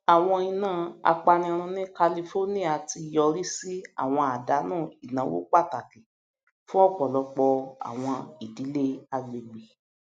àwọn iná apanirun ní california ti yọrí sí àwọn àdánù ináwó pàtàkì fún ọpọlọpọ àwọn ìdílé àgbègbè